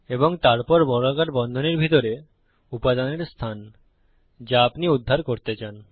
এবং তারপর বর্গাকার বন্ধনীর ভিতরে উপাদানের অবস্থান যদি আপনি উদ্ধার করতে চান